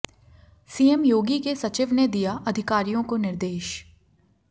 CM Yogi के सचिव ने दिया अधिकारियों को निर्देश